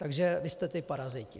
Takže vy jste ti paraziti.